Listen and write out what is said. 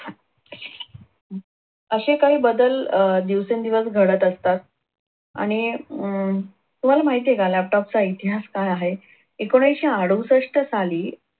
असे काही बदल दिवसेंदिवस घडत असतात आणि अं तुम्हाला माहिती आहे का laptop चा इतिहास काय आहे? एकोणविशे अडुसष्ट साली